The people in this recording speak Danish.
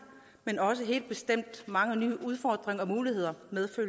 men også helt bestemt mange nye udfordringer og muligheder